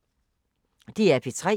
DR P3